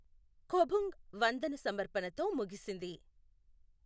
ఖొబుంగ్ వందన సమర్పణతో ముగిసింది.